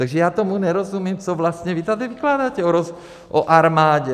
Takže já tomu nerozumím, co vlastně vy tady vykládáte o armádě.